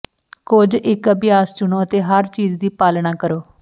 ਕੁਝ ਇੱਕ ਅਭਿਆਸ ਚੁਣੋ ਅਤੇ ਹਰ ਚੀਜ਼ ਦੀ ਪਾਲਣਾ ਕਰੋ